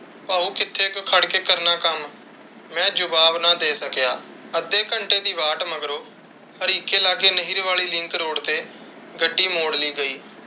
ਭਾਊ ਕਿੱਥੇ ਕੁ ਖੜ ਕੇ ਕਰਨਾ ਕੱਮ? ਮੈਂ ਜਵਾਬ ਨਾ ਦੇ ਸਕਿਆ। ਅੰਧੇ ਘੰਟੇ ਦੀ ਵਾਟ ਮਗਰੋਂ ਹਰੀਕੇ ਲਾਗੇ ਨਹਿਰ ਵਾਲੀ ਲਿੰਕ ਰੋਡ ਤੇ ਗੱਡੀ ਮੋੜ ਲਈ ਗਈ।